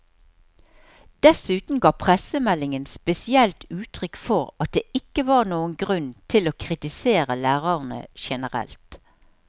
Dessuten ga pressemeldingen spesielt uttrykk for at det ikke var noen grunn til å kritisere lærerne generelt.